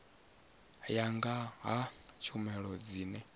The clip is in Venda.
ya nga ha tshumelo dzine